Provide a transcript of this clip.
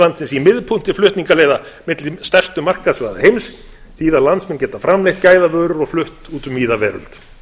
landsins í miðpunkti flutningaleiða milli stærstu markaðssvæða heims þýða að landsmenn geta framleitt gæðavörur og flutt út um víða veröld